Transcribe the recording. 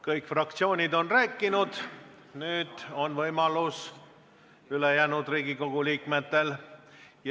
Kõik fraktsioonid on rääkinud, nüüd on see võimalus ülejäänud Riigikogu liikmetel.